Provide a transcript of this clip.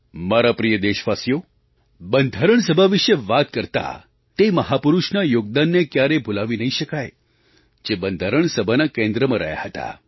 મારા પ્રિય દેશવાસીઓ બંધારણ સભા વિશે વાત કરતા તે મહાપુરુષના યોગદાનને ક્યારેક ભૂલાવી નહીં શકાય જે બંધારણ સભાના કેન્દ્રમાં રહ્યા હતા